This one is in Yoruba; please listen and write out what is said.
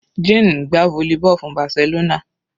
Jane ń gbá volleyball fún Barcelona.